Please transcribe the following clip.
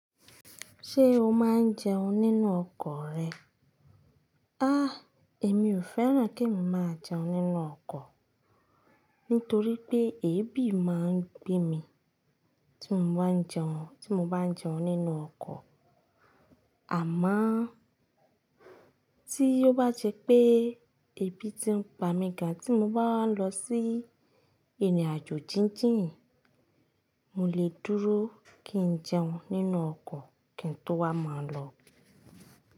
Ṣé o máa ń jẹun nínú ọkọ̀ rẹ? Àh! Èmi ò fẹ́ràn kí ń máa jẹun nínú ọkọ̀, nítorí pé èébì máa ń gbé mi tí mo bá ń jẹun, tí mo bá ń jẹun nínú ọkọ̀. Àmá tí ó bá jẹ pé ébì tí ń gbà mí gan tí mo bá lọ sí ìrìnàjò jíjìn, mo lè dúró kí n jẹun nínú ọkọ̀ kí n tó wá máa lọ.